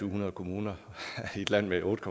hundrede kommuner i et land med otte